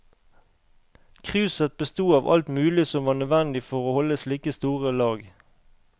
Kruset besto av alt mulig som var nødvendig for å holde slike store lag.